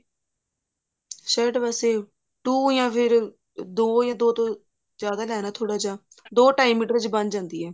shirt ਵਾਸਤੇ two ਯਾ ਫਿਰ ਦੋ ਯਾ ਦੋ ਤੋਂ ਜਿਆਦਾ ਲੈਣਾ ਥੋੜਾ ਜਾ ਦੋ ਢਾਈ ਮੀਟਰ ਚ ਬਣ ਜਾਂਦੀ ਹੈ